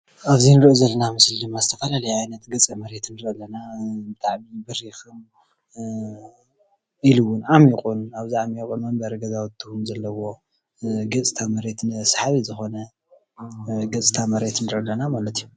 ኣብዚ እንርእዮ ዘለና ምስሊ ድማ ዝተፈለለየ ዓይነት ገፀ መሬት ንርኢ ኣለና። ብጣዕሚ በሪክ ኢሉ እውን ዓሚቑ እውን ኣብዚ ዓሚቕ እውን መንበሪ ገዛውቲ እውን ዘለውዎ ገፅታ መሬት ሰሓብን ዝኮነ ገፅታ መሬት ንርኢ ኣለና ማለት እዩ።